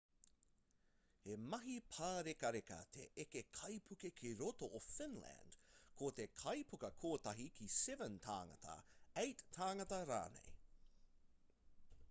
he mahi pārekareka te eke kaipuke ki roto o finland ko te kaipuka kotahi ki 7 tāngata 8 tāngata rānei